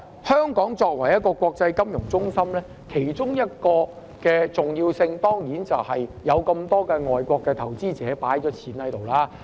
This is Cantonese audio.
香港作為一個國際金融中心，其中一個重要性，當然是有很多外國投資者把資金放在香港。